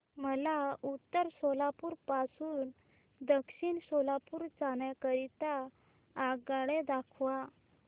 मला उत्तर सोलापूर पासून दक्षिण सोलापूर जाण्या करीता आगगाड्या दाखवा